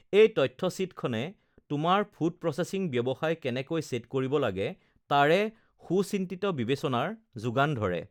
এই তথ্য শ্বীটখনে তোমাৰ ফুড প্ৰছেচিং ব্যৱসায় কেনেকৈ ছেট কৰিব লাগে তাৰে সুচিন্তিত বিবেচনাৰ যোগান ধৰে